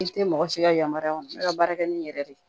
I tɛ mɔgɔ si ka yamaruya kɔnɔ ne ka baara kɛ ni n yɛrɛ de ye